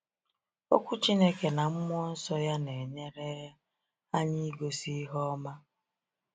Okwu Chineke na Mmụọ Nsọ ya na-enyere anyị igosi ihe ọma.